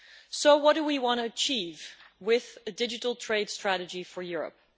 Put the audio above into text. So what do we want to achieve with a digital trade strategy for Europe?